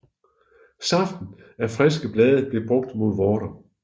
Saften af friske blade blev brugt mod vorter